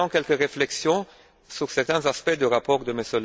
Voici maintenant quelques réflexions sur certains aspects du rapport de M.